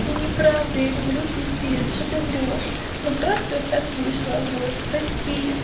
неправда я люблю пипец что ты врёшь но просто так вышло вот прости